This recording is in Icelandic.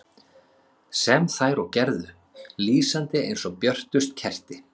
Sem þær og gerðu, lýsandi eins og björtust kerti.